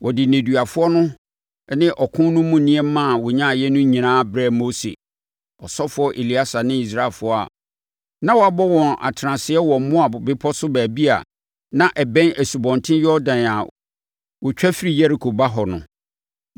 Wɔde nneduafoɔ no ne ɔko no mu nneɛma a wɔnyaeɛ no nyinaa brɛɛ Mose, ɔsɔfoɔ Eleasa ne Israelfoɔ a na wɔabɔ wɔn atenaseɛ wɔ Moab bepɔ so baabi a na ɛbɛn Asubɔnten Yordan a wɔtwa firi Yeriko ba hɔ no.